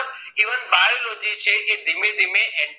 Even biology કે ધીમે ધીમે